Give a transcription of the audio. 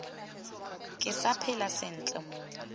ke sa phela sentle mowa